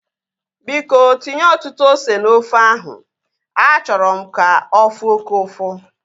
Biko tinye ọtụtụ ose na ofe ahu. Achọrọ m ka ofu oke ụfụ